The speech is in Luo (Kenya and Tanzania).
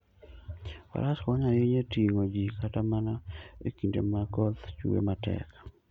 Faras konyo ahinya e ting'o ji kata mana e kinde ma koth chwe matek.